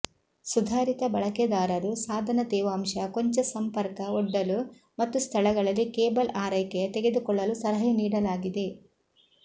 ಸುಧಾರಿತ ಬಳಕೆದಾರರು ಸಾಧನ ತೇವಾಂಶ ಕೊಂಚ ಸಂಪರ್ಕ ಒಡ್ಡಲು ಮತ್ತು ಸ್ಥಳಗಳಲ್ಲಿ ಕೇಬಲ್ ಆರೈಕೆಯ ತೆಗೆದುಕೊಳ್ಳಲು ಸಲಹೆ ನೀಡಲಾಗಿದೆ